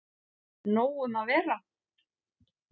Nóg um að vera